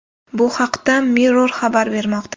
Bu haqda Mirror xabar bermoqda.